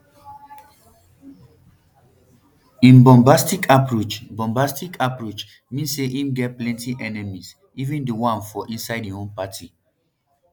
im bombastic approach bombastic approach mean say im get plenti enemies even di one for inside im own party